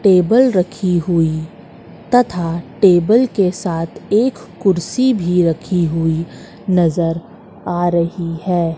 Table रखी हुई तथा टेबल के साथ एक कुर्सी भी रखी हुई नजर आ रही है।